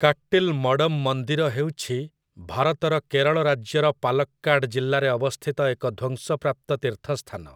କାଟ୍ଟିଲ୍ ମଡମ୍ ମନ୍ଦିର ହେଉଛି ଭାରତର କେରଳ ରାଜ୍ୟର ପାଲକ୍କାଡ ଜିଲ୍ଲାରେ ଅବସ୍ଥିତ ଏକ ଧ୍ୱଂସପ୍ରାପ୍ତ ତୀର୍ଥସ୍ଥାନ ।